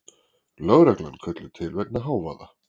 Lögreglan kölluð til vegna hávaða